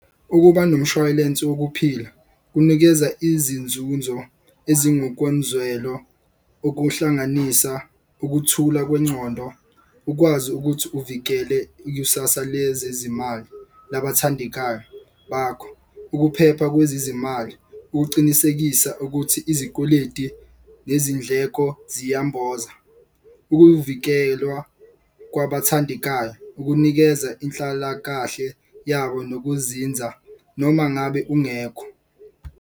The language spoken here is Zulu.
Ukuba nomshwalense wokuphila kunikeza izinzunzo ezingokomzwelo. Okuhlanganisa ukuthula kwencondo, ukwazi ukuthi uvikele ikusasa lezezimali labathandekayo bakho. Ukuphepha kwezezimali ukucinisekisa ukuthi izikweleti nezindleko ziya mboza. Ukuvikelwa kwabathandekayo, ukunikeza inhlalakahle yabo nokuzinza noma ngabe ungekho.